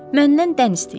Məndən dən istəyirlər.